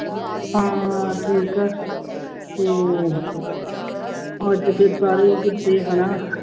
ਹਾਂ ਠੀਕ ਹੈ ਤੇ ਅੱਜ ਫਿਰ ਸਾਰੇ ਹਨਾ